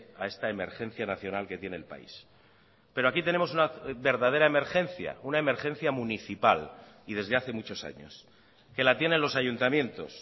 a esta emergencia nacional que tiene el país pero aquí tenemos una verdadera emergencia una emergencia municipal y desde hace muchos años que la tienen los ayuntamientos